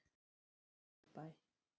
Vesturbæ